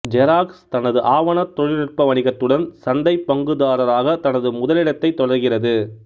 xerox தனது ஆவண தொழில்நுட்ப வணிகத்துடன் சந்தை பங்குதாரராக தனது முதலிடத்தைத் தொடர்கிறது